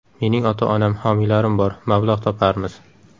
Mening ota-onam, homiylarim bor, mablag‘ toparmiz.